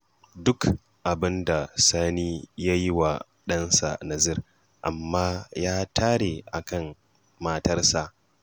Duk abin da Sani ya yi wa ɗansa Nasir, amma ya tare a kan matarsa